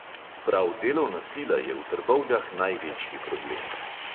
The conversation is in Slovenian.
Prav delovna sila je v trbovljah največji problem.